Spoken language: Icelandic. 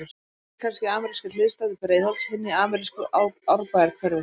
Annar býr kannski í amerískri hliðstæðu Breiðholts, hinn í amerísku Árbæjarhverfi.